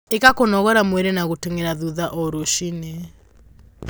Ika kũnogora mwĩrĩ na guteng'era thutha o ruci-ini